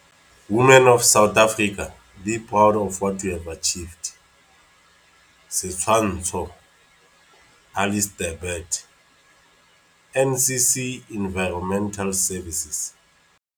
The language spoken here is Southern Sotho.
"Women of South Africa, be proud of what you have achieved." Setshwantsho - Alistair Burt - NCC Environmental Services.